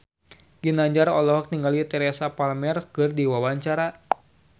Ginanjar olohok ningali Teresa Palmer keur diwawancara